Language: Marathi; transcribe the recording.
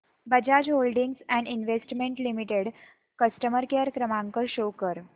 Bajaj holdings and investment limited customer care क्रमांक शो कर